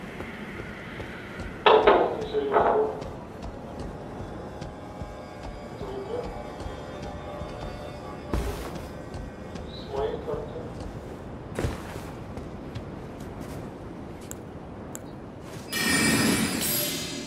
пополни телефон друга димы с моей карты